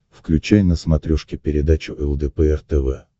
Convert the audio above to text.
включай на смотрешке передачу лдпр тв